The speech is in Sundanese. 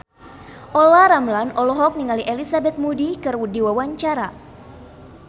Olla Ramlan olohok ningali Elizabeth Moody keur diwawancara